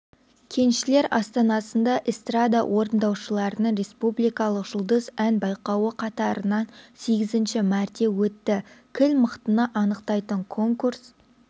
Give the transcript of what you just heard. кеншілер астанасында эстрада орындаушыларының республикалық жұлдыз ән байқауы қатарынан сегізінші мәрте өтті кіл мықтыны анықтайтын конкурс